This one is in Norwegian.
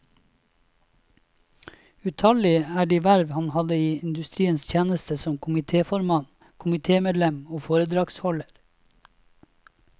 Utallige er de verv han hadde i industriens tjeneste som komitéformann, komitémedlem og foredragsholder.